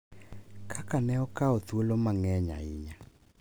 Kaka ne okawo thuolo mang’eny ahinya.